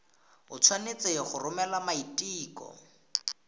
o tshwanetse go romela maiteko